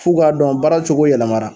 F'u k'a dɔn baaracogo yɛlɛmara